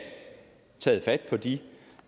taget fat på de